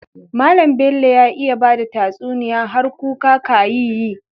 Mallan Bello ya iya bada tatsuniya har kuka kayi yi